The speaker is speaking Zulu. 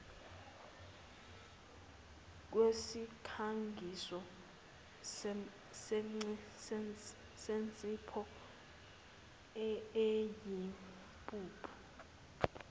kwesikhangiso sensipho eyimpuphu